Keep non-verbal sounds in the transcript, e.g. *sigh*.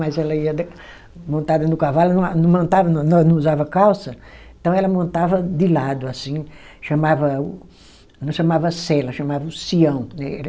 Mas ela ia de montada no cavalo, não a não *unintelligible* não usava calça, então ela montava de lado, assim, chamava o, não chamava cela, chamava o sião, né.